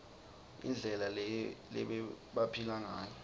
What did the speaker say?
indlela lebebaphila ngayo